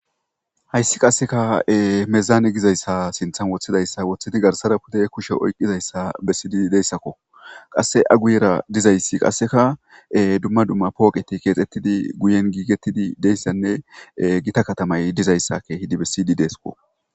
hayssi qasseka mezaane gizayssa sinthan woththidayssa woththidi garsara pude kushe oyqizayssa bessidi deyssakko qasse aguyera dizayssi qasseka dumma dumma pooqeti keexettidi guyen giigettidi deyssanne gita katamay dizayssakke hidi bessiydi deesko